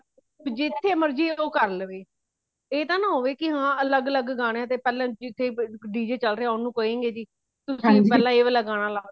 ਜਿਥੇ ਮਰਜੀ ਉਹ ਕਾਰ ਲਵੇ , ਇਹ ਤਾ ਨਾ ਹੋਵੇ ਕੀ ਹਾ ਅਲੱਗ ਅਲੱਗ ਗਾਣਿਆਂ ਤੇ ਪਹਲੇ ਜਿਥੇ >d j< ਚਾਲ ਰਹੀਆਂ ਓਨੁ ਕਏਗੇ ਜੀ ਤੁਸੀਂ ਪਹਿਲਾ ਇਹ ਵਾਲਾ ਗਾਣਾ ਲਗਾਓ